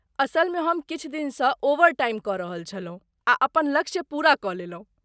असलमे हम किछु दिनसँ ओवरटाइम कऽ रहल छलहुँ आ अपन लक्ष्य पूरा कऽ लेलहुँ।